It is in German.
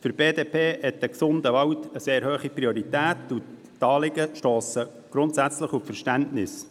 Für die BDP hat ein gesunder Wald eine sehr hohe Priorität, und die Anliegen stossen grundsätzlich auf Verständnis.